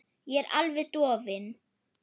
Ég er alveg dofin.